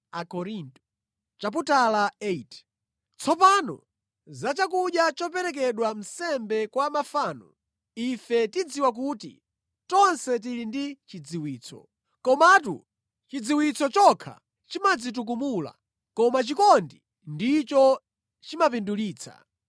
Tsopano za chakudya choperekedwa nsembe kwa mafano: Ife tidziwa kuti tonse tili ndi chidziwitso. Komatu chidziwitso chokha chimadzitukumula, koma chikondi ndicho chimapindulitsa.